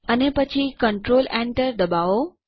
અને પછી કન્ટ્રોલેન્ટર દબાવો